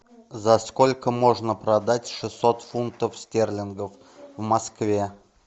за сколько можно продать шестьсот фунтов стерлингов в москве